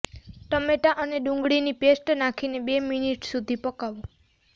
ટમેટા અને ડુંગળીની પેસ્ટ નાખીને બે મિનીટ સુધી પકાવો